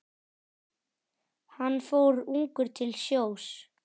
Hann fór ungur til sjós.